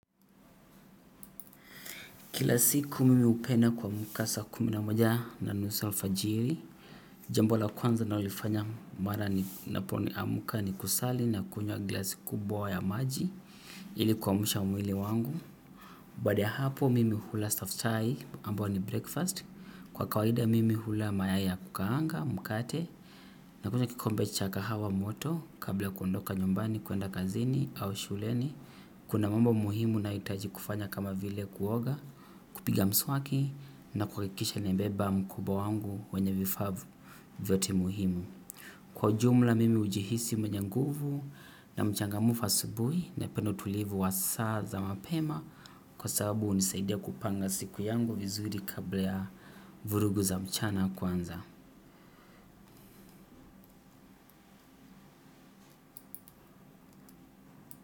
Kila siku mimi upenda kuhamka saa kumi na moja na nusu alfajiri, jambo la kwanza ninalolifanya mara ninapo amka ni kusali na kunywa glasi kubawa ya maji ili kuamsha mwili wangu. Bahada ya hapo mimi hula sofutai ambayo ni breakfast, kwa kawahida mimi hula mayayi ya kukaanga, mukate, na kunywa kikombe cha kahawa moto kabla kuondoka nyumbani kuenda kazini au shuleni. Kuna mambo muhimu nahitaji kufanya kama vile kuoga, kupiga mswaki na kuhakikisha nimebeba mkoba wangu kwenye vifaa vyote muhimu. Kwa ujumla mimi ujihisi mwenye nguvu na mchangamufa asubui napenda utulivu wa saa za mapema kwa sababu unisaidia kupanga siku yangu vizuri kabla ya vurugu za mchana kwanza.